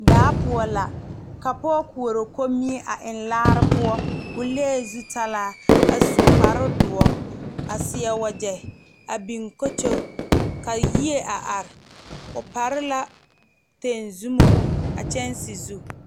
Daa poɔ la ka pɔge koɔrɔ komie a eŋ laare poɔ o lee zutalaa a su kpare doɔ a seɛ wagye a biŋ kokyo ka yie a are o pare la tenzumo a kyɛŋsi zu.